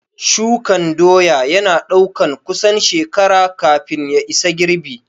Shukan doya ya na ɗaukan kusan shekara kafin ya isa girbi